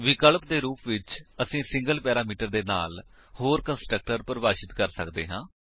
ਵਿਕਲਪਿਕ ਰੂਪ ਵਿਚ ਅਸੀਂ ਸਿੰਗਲ ਪੈਰਾਮੀਟਰ ਦੇ ਨਾਲ ਹੋਰ ਕੰਸਟਰਕਟਰ ਪਰਿਭਾਸ਼ਿਤ ਕਰ ਸੱਕਦੇ ਹਾਂ